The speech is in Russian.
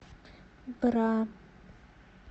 бра